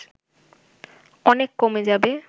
অনেক কমে যাবে